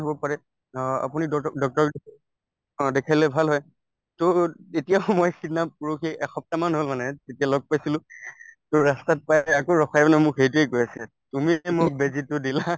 হব পাৰে অ আপুনি অ দেখালে ভাল হয় to এতিয়া সময় সিদিনা পৰহি একসপ্তাহমান হল মানে তেতিয়া লগ পাইছিলো to ৰাস্তাত পাই আকৌ ৰখাই মানে মোক সেইটোয়ে কৈ আছে তুমি যে মোক বেজীটো দিলা